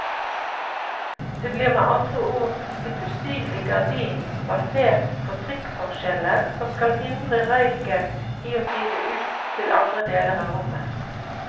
Det blir med andre ord et usynlig gardin basert på trykkforskjeller som skal hindre røyken i å sive ut til andre deler av rommet.